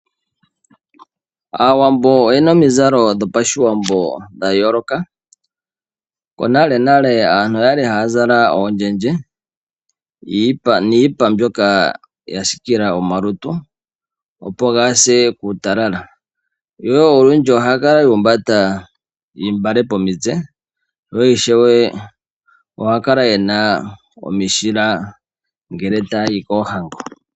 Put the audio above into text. Aawambo oyena omizalo dhopashiwambo dhayooloka. Konalenale aantu okwali haya zala oondjendje, niipa mbyoka yasiikila omalutu opo kagase kuutalala. Yo olundji ohaya kala yuumbanda iimbale pomitse yo ishewe ohaya kala yena omishila ngele taya yi koohango.